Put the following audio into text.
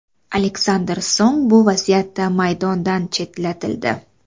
Aleksandr Song bu vaziyatda maydondan chetlatildi.